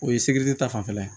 O ye ta fanfɛla ye